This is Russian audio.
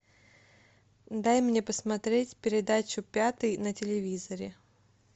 дай мне посмотреть передачу пятый на телевизоре